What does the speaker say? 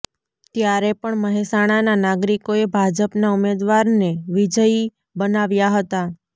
ત્યારે પણ મહેસાણાનાં નાગરીકોએ ભાજપનાં ઉમેદવારને વિજયી બનાવ્યા હતા